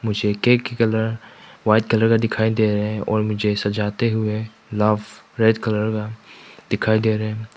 इसे केक की colour white colour का दिखाई दे रहा है और मुझे सजाते हुए लव रेड कलर का दिखाई दे रहा है।